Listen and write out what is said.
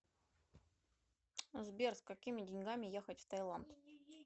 сбер с какими деньгами ехать в таиланд